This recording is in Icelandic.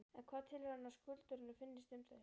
En hvað telur hann að skuldurum finnist um þau?